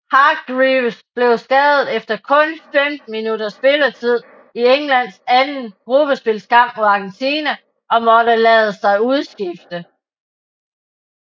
Hargreaves blev skadet efter kun 15 minutters spilletid i Englands anden gruppespilskamp mod Argentina og måtte lade sig udskifte